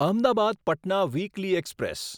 Ahmedabad Patna weekly express